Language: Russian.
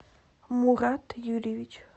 мурад юрьевич